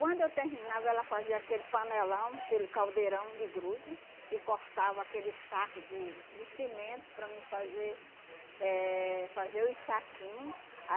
Quando eu terminava, ela fazia aquele panelão, aquele caldeirão de grude, e cortava aquele saco de de cimento para mim fazer, eh fazer os saquinho